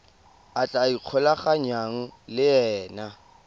a tla ikgolaganyang le ena